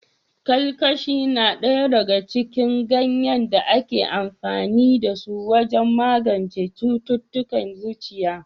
Kalkashi na ɗaya daga cikin ganyen da ake amfani da su wajen magance cututtukan zuciya.